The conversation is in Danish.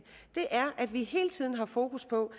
at vi hele tiden har fokus på